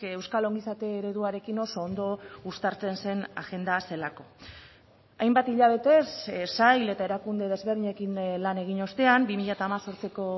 euskal ongizate ereduarekin oso ondo uztartzen zen agenda zelako hainbat hilabetez sail eta erakunde desberdinekin lan egin ostean bi mila hemezortziko